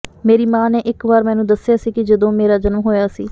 ਮੇਰੀ ਮਾਂ ਨੇ ਇਕ ਵਾਰ ਮੈਨੂੰ ਦੱਸਿਆ ਕਿ ਜਦੋਂ ਮੇਰਾ ਜਨਮ ਹੋਇਆ ਸੀ